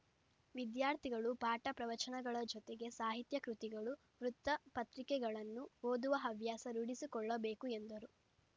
ವಿದ್ಯಾರ್ಥಿಗಳು ಪಾಠಪ್ರವಚನಗಳ ಜೊತೆಗೆ ಸಾಹಿತ್ಯ ಕೃತಿಗಳು ವೃತ್ತಪತ್ರಿಕೆಗಳನ್ನು ಓದುವ ಹವ್ಯಾಸ ರೂಡಿಸಿಕೊಳ್ಳಬೇಕು ಎಂದರು